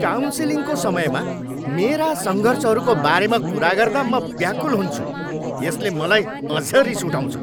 काउन्सिलिङको समयमा मेरा सङ्घर्षहरूको बारेमा कुरा गर्दा म व्याकुल हुन्छु। यसले मलाई अझ रिस उठाउँछ।